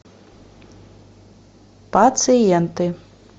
пациенты